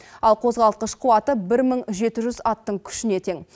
ал қозғалтқыш қуаты бір мың жеті жүз аттың күшіне тең